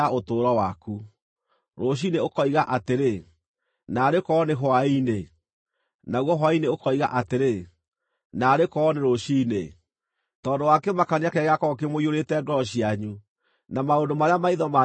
Rũciinĩ ũkoiga atĩrĩ, “Naarĩ korwo nĩ hwaĩ-inĩ!” Naguo hwaĩ-inĩ ũkoiga atĩrĩ, “Naarĩ korwo nĩ rũciinĩ!” Tondũ wa kĩmakania kĩrĩa gĩgaakorwo kĩmũiyũrĩte ngoro cianyu, na maũndũ marĩa maitho manyu makeyonera.